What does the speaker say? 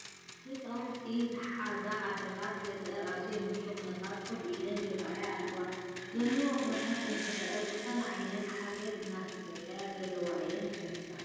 ህፃውንቲ ዝሓዛ ኣዶታት ገጠር ኣብዘይምቹው ኩነታት ኮፍ ኢለን ይርአያ ኣለዋ፡፡ ዘለዉኦ ኩነታተን እንትርአ ዝኾነ ዓይነት ሓገዝ እናተፀበያ ዘለዋ እየን ዝመስላ፡፡